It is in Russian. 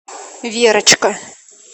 верочка